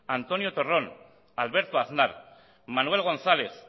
antonio torrón alberto aznar manuel gonzález